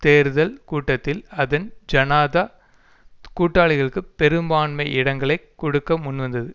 தேர்தல் கூட்டில் அதன் ஜனாதா கூட்டாளிகளுக்கு பெரும்பான்மை இடங்களை கொடுக்க முன்வந்தது